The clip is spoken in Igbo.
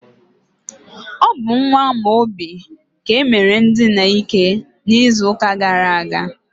ọ bụ nwa Amaobi ka e mere ndina ike n'izuụka gara aga.